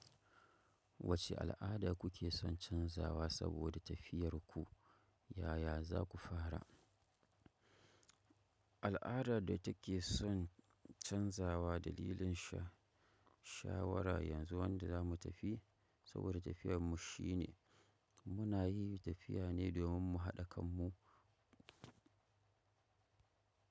Wacce al'ada kuke son canzawa saboda tafiyar ku? Yaya za ku fara? Al'adar da ta ke son canzawa dalilin sha-shawara yanzu wanda za mu tafi saboda tafiyar mu shi ne mu na yi tafiya ne domin mu haɗa kanmu.